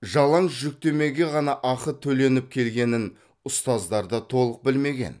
жалаң жүктемеге ғана ақы төленіп келгенін ұстаздар да толық білмеген